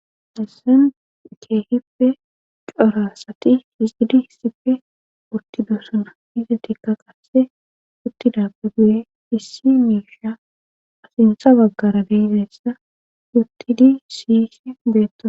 assen keehippe corasati isidi hissipfe urtido suna izetikka qasse uttidappe guye issi mirsha asintsa baggara deizessa uttidi siyisi beetto